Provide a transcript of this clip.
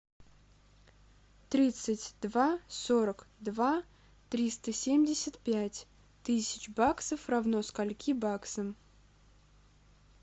тридцать два сорок два триста семьдесят пять тысяч баксов равно скольки баксам